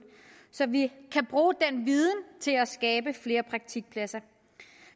så vi kan bruge den viden til at skabe flere praktikpladser